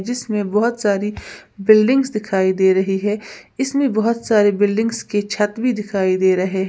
जिसमें बोहोत सारी बिल्डिंग्स दिखाई दे रही हैं इसमें बोहोत सारे बिल्डिंग्स की छत भी दिखाई दे रहे --